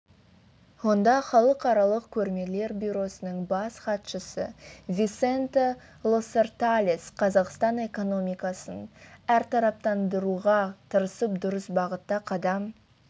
онда халықаралық көрмелер бюросының бас хатшысы висенте лоссерталес қазақстан экономикасын әртараптандыруға тырысып дұрыс бағытта қадам